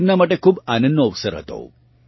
તે તેમનાં માટે ખૂબ આનંદનો અવસર હતો